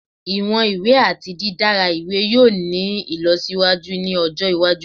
Iwọn iwe ati didara iwe yoo ni ilọsiwaju ni ọjọ iwaju